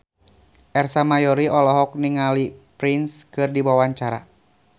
Ersa Mayori olohok ningali Prince keur diwawancara